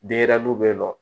Denɲɛrɛninw bɛ yen nɔ